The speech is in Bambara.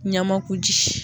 Ɲamakuji.